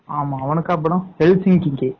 ஆமா அவனுக்கு அப்பறம்